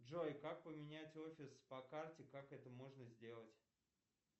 джой как поменять офис по карте как это можно сделать